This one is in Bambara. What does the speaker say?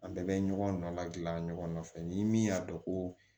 An bɛɛ bɛ ɲɔgɔn na ladilan ɲɔgɔn fɛ ni min y'a dɔn ko